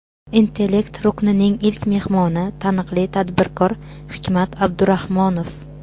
"Intellekt" ruknining ilk mehmoni – taniqli tadbirkor Hikmat Abdurahmonov.